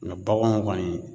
Mɛ baganw kɔni